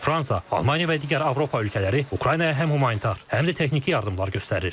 Fransa, Almaniya və digər Avropa ölkələri Ukraynaya həm humanitar, həm də texniki yardımlar göstərir.